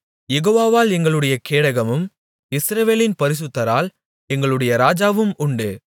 யெகோவாவால் எங்களுடைய கேடகமும் இஸ்ரவேலின் பரிசுத்தரால் எங்களுடைய ராஜாவும் உண்டு